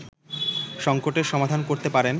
সংকটের সমাধান করতে পারেন